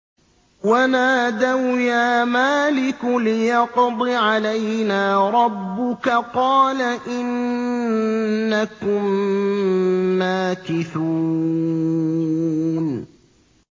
وَنَادَوْا يَا مَالِكُ لِيَقْضِ عَلَيْنَا رَبُّكَ ۖ قَالَ إِنَّكُم مَّاكِثُونَ